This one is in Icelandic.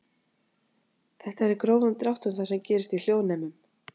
þetta er í grófum dráttum það sem gerist í hljóðnemum